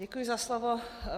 Děkuji za slovo.